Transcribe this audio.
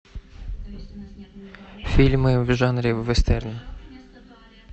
фильмы в жанре вестерн